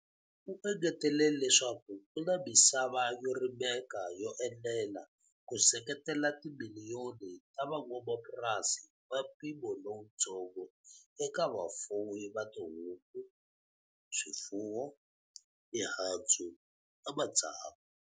U engetele leswaku ku na misava yo rimeka yo enela ku seketela timiliyoni ta van'wamapurasi va mpimo lowutsongo eka vafuwi va tihuku, swifuwo, mihandzu na matsavu.